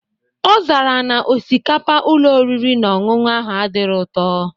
Ọzara na osikapa Ụlọ oriri na ọṅụṅụ ahụ adirọ ụtọ